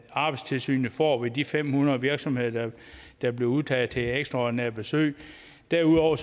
arbejdstilsynet får ved de fem hundrede virksomheder der bliver udtaget til ekstraordinært besøg derudover